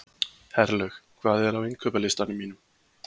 Herlaug, hvað er á innkaupalistanum mínum?